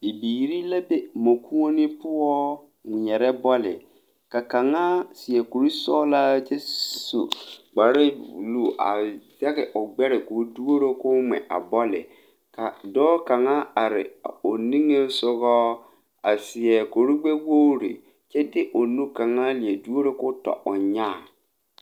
Bibiiri la be mɔkuone poɔ ŋmeɛre bɔle ka kaŋa seɛ kure sɔglaa kyɛ su kpare buluu a zɛge o gbɛre koo duoro koo ŋmɛ a bɔle a dɔɔ kaŋa a are o nigesɔgɔ a seɛ kuri gbɛ wogre kyɛ de o nu kaŋa leɛ duoro ko tɔ o nyaa.